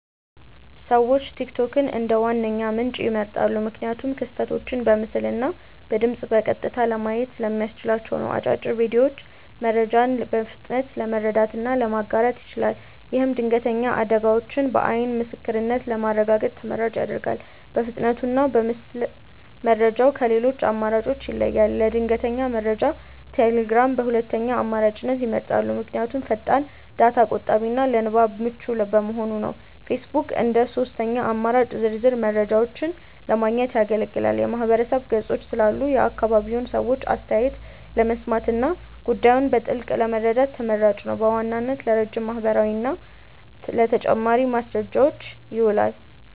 ሰዎች ቲክቶክን እንደ ዋነኛ ምንጭ ይመርጣሉ። ምክንያቱም ክስተቶችን በምስልና በድምፅ በቀጥታ ለማየት ስለሚያስችል ነው። አጫጭር ቪዲዮዎቹ መረጃን በፍጥነት ለመረዳትና ለማጋራት ይችላል። ይህም ድንገተኛ አደጋዎችን በዓይን ምስክርነት ለማረጋገጥ ተመራጭ ያደርገዋል። በፍጥነቱና በምስል መረጃው ከሌሎች አማራጮች ይለያል። ለድንገተኛ መረጃ ቴሌግራምን በሁለተኛ አማራጭነት ይመርጣሉ። ምክንያቱም ፈጣን፣ ዳታ ቆጣቢና ለንባብ ምቹ በመሆኑ ነው። ፌስቡክ እንደ ሦስተኛ አማራጭ ዝርዝር መረጃዎችን ለማግኘት ያገለግላል። የማህበረሰብ ገጾች ስላሉ የአካባቢውን ሰዎች አስተያየት ለመስማትና ጉዳዩን በጥልቀት ለመረዳት ተመራጭ ነው። በዋናነት ለረጅም ማብራሪያና ለተጨማሪ ማስረጃዎች ይውላል።